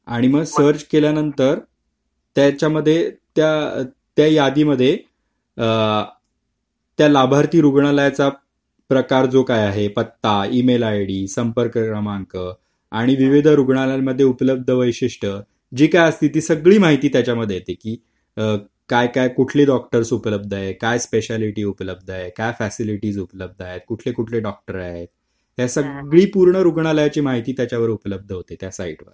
आणि मग सर्च केल्यानंतर त्याच्यामध्ये त्या यादीमध्ये त्याला लाभार्थी रुग्णालयाचा प्रकार जो काय आहे पत्ता ई-मेल आयडी संपर्क क्रमांक आणि विविध रुग्णालयांमध्ये उपलब्ध वैशिष्ट जी काही सगळी माहिती त्याच्यामध्ये येते की काय काय कुठली डॉक्टर उपलब्ध आहे काय स्पेशालिटी उपलब्ध फॅसिलिटी उपलब्ध आहेत कुठले कुठले डॉक्टर आहे त्याचा पूर्ण रुग्णालयाची माहिती त्याच्यावर उपलब्ध होते त्या साइटवर